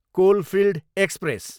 coalfield express